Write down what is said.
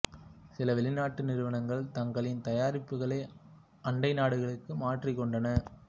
சில வெளிநாட்டு நிறுவனங்கள் தங்களின் தயாரிப்புகளை அண்டை நாடுகளுக்கு மாற்றிக் கொண்டன